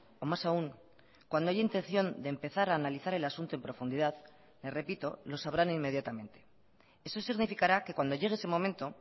o más aún cuando haya intención de empezar a analizar el asunto en profundidad me repito lo sabrán inmediatamente eso significará que cuando llegue ese momento